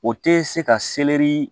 O tɛ se ka selɛri